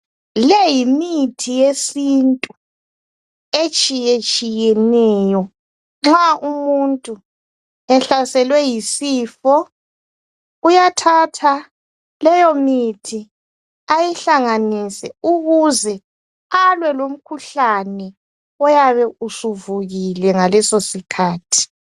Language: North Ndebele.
Leyi yimithi yesintu etshiyetshiyeneyo nxa umuntu ehlaselwe yisifo uyathatha leyo mithi ayihlanganise ukuze alwe lomkhuhlane oyabe usuvukile ngaleso sikhathi.